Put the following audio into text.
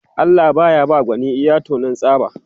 Allah baya ba gwani iya taunan tsaba